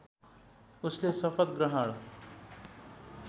उसले शपथ ग्रहण